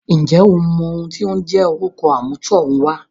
ǹjẹ́ o mọ ohùn ti ó ń jẹ́ orúkọ àmútọ̀runwá?